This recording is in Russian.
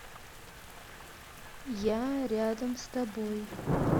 я рядом с тобой